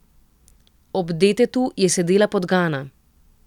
Ob detetu je sedela podgana.